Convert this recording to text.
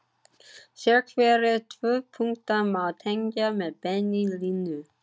Sérhverja tvo punkta má tengja með beinni línu.